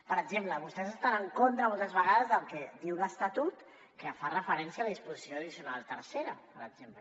per exemple vostès estan en contra moltes vegades del que diu l’estatut que fa referència a la disposició addicional tercera per exemple